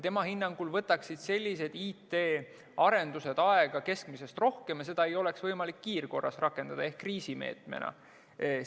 Tema hinnangul võtaksid sellised IT-arendused aega keskmisest rohkem ja seda ei oleks võimalik kiirkorras ehk kriisimeetmena rakendada.